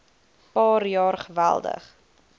paar jaar geweldig